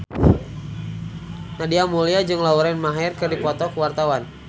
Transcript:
Nadia Mulya jeung Lauren Maher keur dipoto ku wartawan